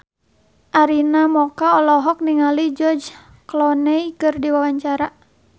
Arina Mocca olohok ningali George Clooney keur diwawancara